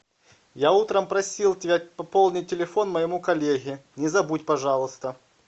я утром просил тебя пополнить телефон моему коллеге не забудь пожалуйста